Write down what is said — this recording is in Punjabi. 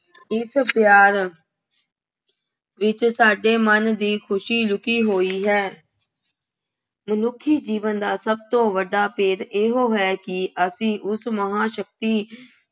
ਇਸ ਪਿਆਰ ਵਿੱਚ ਸਾਡੇ ਮਨ ਦੀ ਖੁਸ਼ੀ ਲੁੱਕੀ ਹੋਈ ਹੈ। ਮਨੁੱਖੀ ਜੀਵਨ ਦਾ ਸਭ ਤੋਂ ਵੱਡਾ ਭੇਦ ਇਹੋ ਹੈ ਕਿ ਅਸੀਂ ਉਸ ਮਹਾਂਸ਼ਕਤੀ